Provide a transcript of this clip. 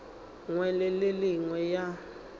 nngwe le e nngwe ya